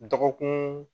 Dɔgɔkun